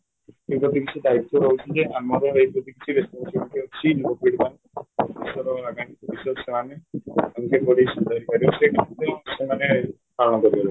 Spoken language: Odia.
ଏପରି କିଛି ଦାଇତ୍ୱ ରହୁଛିକି ଆମର ସେମାନେ ପାଳନ କରିପାରିବେନି